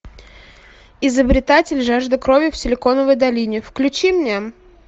изобретатель жажда крови в силиконовой долине включи мне